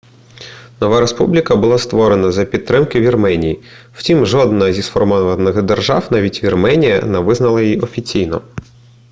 нова республіка була створена за підтримки вірменії втім жодна зі сформованих держав навіть вірменія не визнала її офіційно